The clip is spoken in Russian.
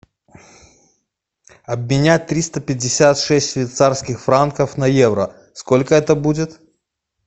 обменять триста пятьдесят шесть швейцарских франков на евро сколько это будет